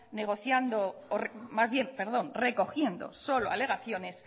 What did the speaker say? negociando o más bien recogiendo solo alegaciones